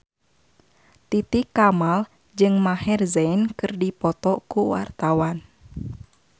Titi Kamal jeung Maher Zein keur dipoto ku wartawan